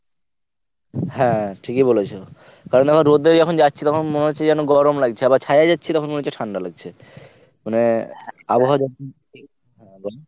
হ্যাঁ ঠিকই বলেছো। কারণ আবার রোদ্রে যখন যাচ্ছি তখন মনে হচ্ছে যেন গরম লাগছে আবার ছায়ায় যাচ্ছি তখন মনে হচ্ছে ঠান্ডা লাগছে। মানে আবহাওয়া যখন হ্যাঁ বল